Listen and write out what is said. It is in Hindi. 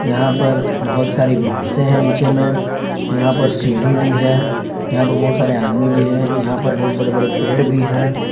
यहां पर बहुत सारी बांसे है नीचे में यहां पर सीढ़ी भी है यहां पर बहुत सारे आदमी भी हैं यहां पर बहुत बड़े बड़े पेड़ भी हैं।